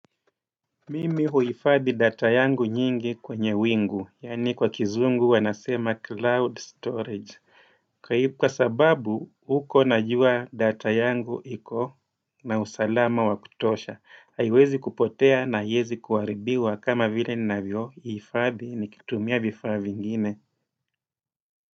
Mimi huifadhi data yangu nyingi kwenye wingu, yaani kwa kizungu wanasema cloud storage. Kwa sababu, huko najua data yangu iko na usalama wa kutosha. Haiwezi kupotea na haiezi kuharibiwa kama vile ninavyohifadhi nikitumia vifaa vingine.